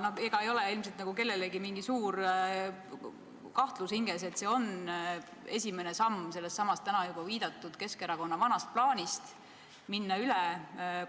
Ja ega ei ole ilmselt kellelgi mingit suurt kahtlust hinges – see on esimene samm sellessamas täna juba viidatud Keskerakonna vanas plaanis minna üle